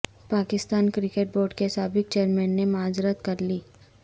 Pakistan cricket board کے سابق chairman نے معذرت کر لی